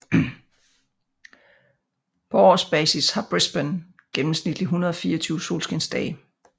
På årsbasis har Brisbane gennemsnitligt 124 solskinsdage